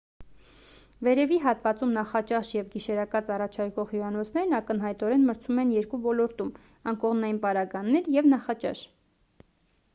վերևի հատվածում նախաճաշ և գիշերակաց առաջարկող հյուրանոցներն ակնհայտորեն մրցում են երկու ոլորտում անկողնային պարագաներ և նախաճաշ